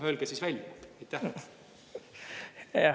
Öelge siis välja.